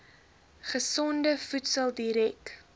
gesonde voedsel direk